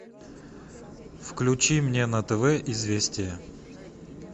включи мне на тв известия